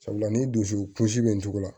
Sabula ni dusukun kunsi bɛ ntugula